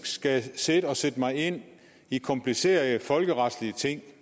skal sidde og sætte mig ind i komplicerede folkeretlige ting